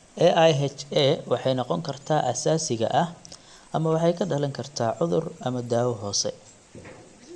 AIHA waxay noqon kartaa asaasiga ah (idiopathic) ama waxay ka dhalan kartaa cudur ama daawo hoose.